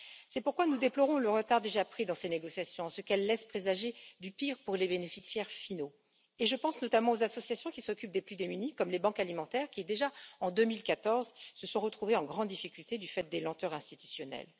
C'est pourquoi nous déplorons le retard déjà pris dans ces négociations, ce qui laisse présager du pire pour les bénéficiaires finaux. Je pense notamment aux associations qui s'occupent des plus démunis, comme les banques alimentaires qui, déjà en 2014, se sont retrouvées en grande difficulté du fait des lenteurs institutionnelles.